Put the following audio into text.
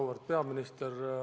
Auväärt peaminister!